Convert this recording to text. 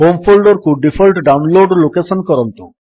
home folder କୁ default download location କରନ୍ତୁ